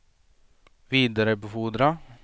vidarebefordra